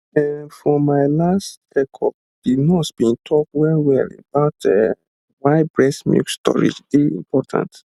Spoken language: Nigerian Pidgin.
ehm for my for my last checkup the nurse been talk wellwell about um why breast milk storage dey important